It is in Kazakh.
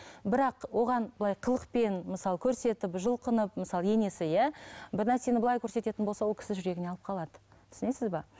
бірақ оған былай қылықпен мысалы көрсетіп жұлқынып мысалы енесі иә бір нәрсені былай көрсететін болса ол кісі жүрегіне алып қалады түсінесіз бе